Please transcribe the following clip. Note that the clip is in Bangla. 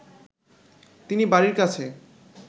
তিনি বাড়ির কাছে